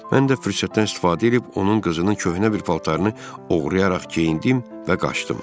Mən də fürsətdən istifadə edib onun qızının köhnə bir paltarını oğrayaraq geyindim və qaçdım.